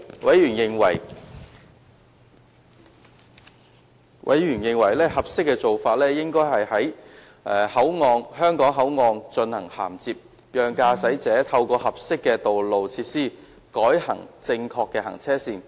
委員認為合適的做法是在香港口岸進行銜接，讓駕駛者透過合適的道路設施改行正確的行車線。